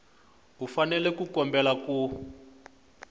u fanele ku kombela ku